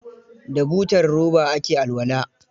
Da butar roba ake alwala.